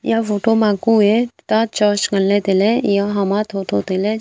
eya photo ma kue ta church nganley tailey eya hama thotho tailey ham--